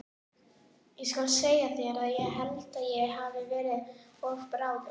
Ég skal segja þér að ég held að ég hafi verið of bráður.